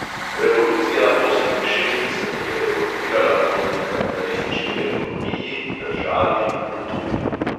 Revolucija oseminšestdeset je revoltirala proti kapitalistični ekonomiji, državi, kulturi.